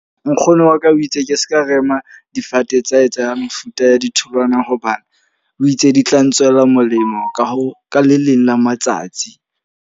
Nkgono wa ka o itse ke seka rema difate tsa hae tsa mefuta ya ditholwana. Hobane o itse di tla ntswela molemo ka ho ka le leng la matsatsi.